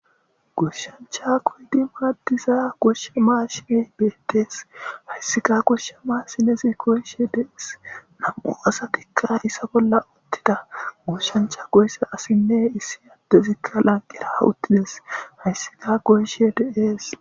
Goshancha goyid madiza gosha mashiney betes . Haysika gosha mashinez goyishe Des. Hanko asatika iza bolla utida . Goyiza assine issi adez lanqera utides haysika goyishe de'es.